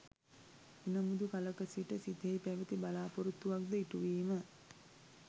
එනමුදු කලක සිට සිතෙහි පැවති බලාපොරොත්තුවක් ද ඉටුවීම